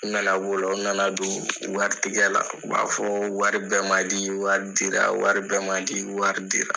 U nana bɔ o la, u nana don wari tigɛ la, u b'a fɔ wari bɛɛ ma di , wari dira, wari bɛɛ ma di, wari dera.